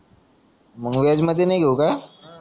मग वेजमध्ये नई घेऊ का